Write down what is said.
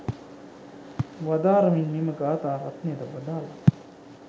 වදාරමින් මෙම ගාථා රත්නයද වදාළා.